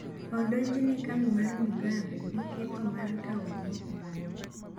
Odonjne Kambi mar Mugabe gi ketho mar kawo lowo ma ok margi.